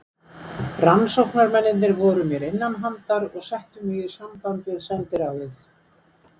Rannsóknarmennirnir voru mér innanhandar og settu sig í samband við sendiráðið.